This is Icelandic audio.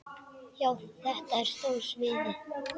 Já, þetta er stóra sviðið.